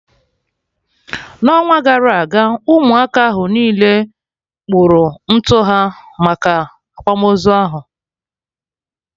n'ọnwa gara aga Ụmụaka ahụ niile kpụrụ ntutu ha maka akwamozu ahụ